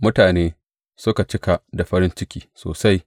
Mutane suka cika da farin ciki sosai.